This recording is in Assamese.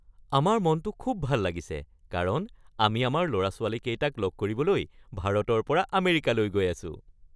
আমাৰ মনটো খুব ভাল লাগিছে কাৰণ আমি আমাৰ ল’ৰা-ছোৱালীকেইটাক লগ কৰিবলৈ ভাৰতৰ পৰা আমেৰিকালৈ গৈ আছোঁ।